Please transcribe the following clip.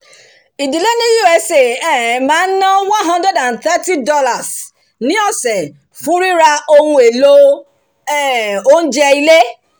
ìdílé ni usa máa ń um ná one hundred and thirty dollars ní ọ̀sẹ̀ fún ríra ohun èlò um oúnjẹ ilé